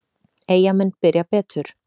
Eyjamenn byrja betur.